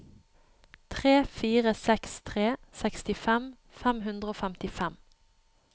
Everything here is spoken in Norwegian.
tre fire seks tre sekstifem fem hundre og femtifem